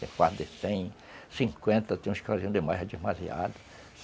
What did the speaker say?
Tem fardo de cem, cinquenta, tem uns que faziam demais, é demasiado.